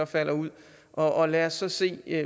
falder ud og lad os så se